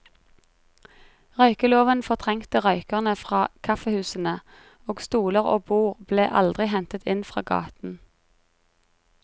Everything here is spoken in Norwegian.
Røykeloven fortrengte røykerne fra kaffehusene, og stoler og bord ble aldri hentet inn fra gaten.